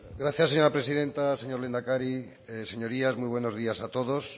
gracias señora presidenta señor lehendakari señorías muy buenos días a todos